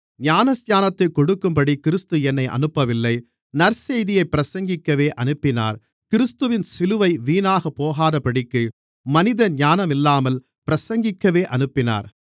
ஞானஸ்நானத்தைக் கொடுக்கும்படி கிறிஸ்து என்னை அனுப்பவில்லை நற்செய்தியைப் பிரசங்கிக்கவே அனுப்பினார் கிறிஸ்துவின் சிலுவை வீணாகப் போகாதபடிக்கு மனித ஞானமில்லாமல் பிரசங்கிக்கவே அனுப்பினார்